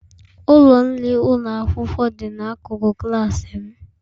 Ụlọ nri ụlọ akwụkwọ dị n'akụkụ klas m.